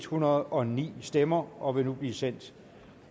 hundrede og ni stemmer og vil nu blive sendt